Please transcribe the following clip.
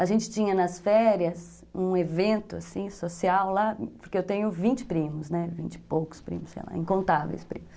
A gente tinha nas férias um evento, assim, social lá, porque eu tenho vinte primos, né, vinte e poucos primos, sei lá, incontáveis primos.